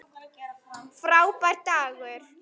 Frábær dagur.